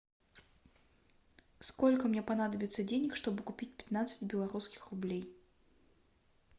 сколько мне понадобится денег чтобы купить пятнадцать белорусских рублей